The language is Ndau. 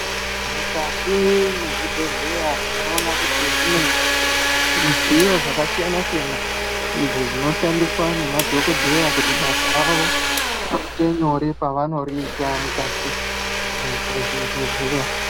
Mukati mwezvibhedheya tinoona kuti mune zvidziyo zvakasiyana-siyana ,izvo zvinoshandiswa nemadhokodheya kuti basa ravo riite nyore pavanoriita ,mukati mwezvibhedhleya.